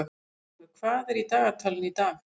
Guttormur, hvað er í dagatalinu í dag?